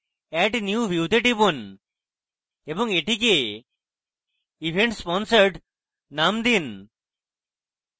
add new view তে টিপুন এবং এটিকে events sponsored name দিন